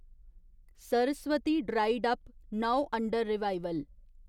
Saraswati dried up, now under revival